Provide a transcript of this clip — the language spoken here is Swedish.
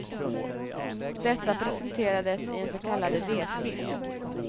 Detta presenterades i en så kallad idéskiss.